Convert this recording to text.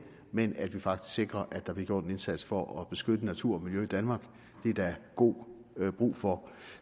men at vi faktisk sikrer at der bliver gjort en indsats for at beskytte natur og miljø i danmark det er der god brug for